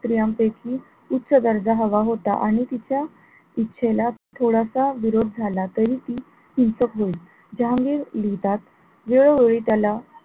स्त्रियांपैकी उच्च दर्जा हवा होता आणि तिचा इच्छेला विरोध झाला तरी ती हिसंक होईल. जहांगीर लिहतात वेळोवेळी त्याला,